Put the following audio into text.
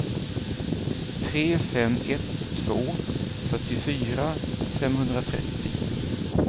tre fem ett två fyrtiofyra femhundratrettio